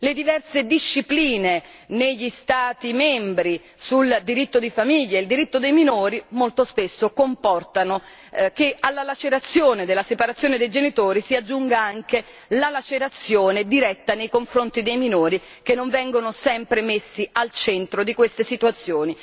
Le diverse discipline, negli Stati membri, sul diritto di famiglia, sul diritto dei minori, molto spesso comportano che alla lacerazione della separazione dei genitori si aggiunga anche la lacerazione diretta nei confronti dei minori, che non vengono sempre messi al centro di queste situazioni.